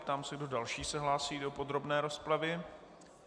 Ptám se, kdo další se hlásí do podrobné rozpravy.